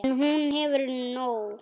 En hún hefur nóg.